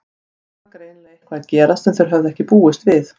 Þarna var greinilega eitthvað að gerast sem þeir höfðu ekki búist við.